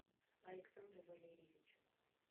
александру валерьевичу